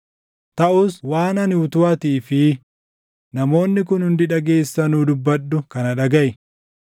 Taʼus waan ani utuu atii fi namoonni kun hundi dhageessanuu dubbadhu kana dhagaʼi: